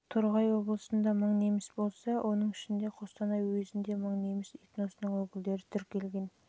жылы торғай облысында мың неміс болса оның ішінде қостанай уезінде мың неміс этносының өкілдері тіркелген